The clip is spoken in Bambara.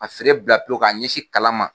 ka feere bila pewu ka n ɲɛsin kalan ma.